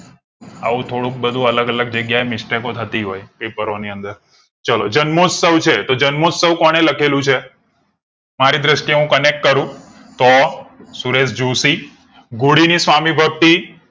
આવું થોડુંક બધું અલગ અલગ જગ્યાએ mistake કો થતી paper રો ની અંદર ચાલો જન્મોત્સવ કોણે લખેલું છે મારી દ્રષ્ટિ એ હું connect કરું તો સુરેશ જોશી ઘોડી ની સામી ભક્તિ